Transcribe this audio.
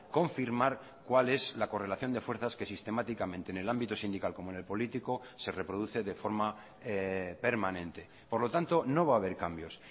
confirmar cuál es la correlación de fuerzas que sistemáticamente en el ámbito sindical como en el político se reproduce de forma permanente por lo tanto no va a haber cambios